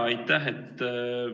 Aitäh!